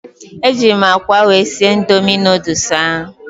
Ejịrị m akwa wee sie Indomị nooduls ahụ